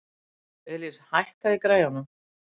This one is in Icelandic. Elis, hækkaðu í græjunum.